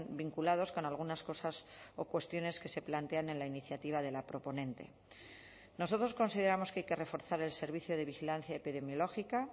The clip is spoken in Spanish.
vinculados con algunas cosas o cuestiones que se plantean en la iniciativa de la proponente nosotros consideramos que hay que reforzar el servicio de vigilancia epidemiológica